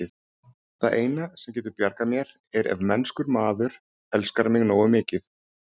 Það eina, sem getur bjargað mér, er ef mennskur maður elskar mig nógu mikið.